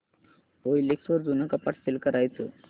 OLX वर जुनं कपाट सेल कसं करायचं